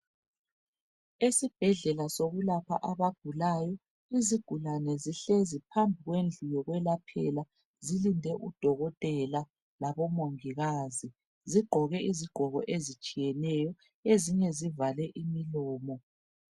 Esibhedlela sokulapha abagulayo, izigulane zihlezi phambi kwendlu yokwelaphela zilinde udokotela labomongikazi. Zigqoke izigqoko ezitshiyeneyo ezinye zivale umlomo.